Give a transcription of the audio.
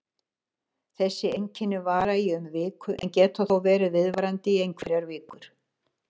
Þessi einkenni vara í um viku en geta þó verið viðvarandi í einhverjar vikur.